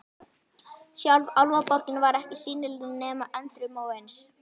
Sjálf Álfaborgin var ekki sýnileg nema endrum og eins.